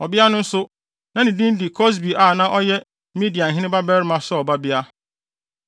Ɔbea no nso, na ne din de Kosbi a na ɔyɛ Midianhene babarima Sur babea.